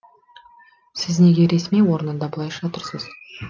сіз неге ресми орында бұлайша тұрсыз